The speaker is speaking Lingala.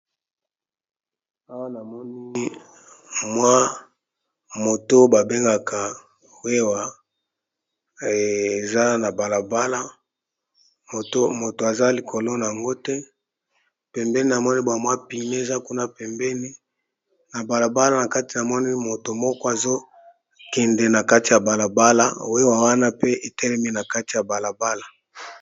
awa na monini mwa moto babengaka wewa eza na balabala moto aza likolo na yango te pembeni na monibwa mwa pime eza kuna pembeni na balabala na kati na monii moto moko azokende na kati ya balabala wewa wana pe etelemi na kati ya balabala